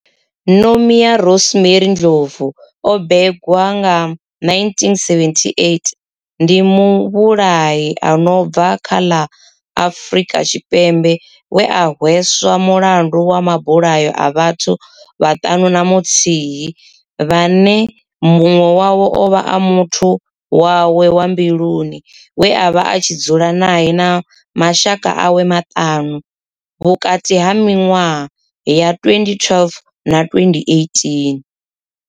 Nomia Rosemary Ndlovu o bebiwaho nga, 1978, ndi muvhulahi a no bva kha ḽa Afrika Tshipembe we a hweswa mulandu wa mabulayo a vhathu vhaṱanu na muthihi vhane munwe wavho ovha a muthu wawe wa mbiluni we avha a tshi dzula nae na mashaka awe maṱanu, vhukati ha minwaha ya 2012 na 2018.